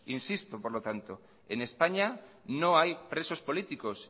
insisto por lo tanto en españa no hay presos políticos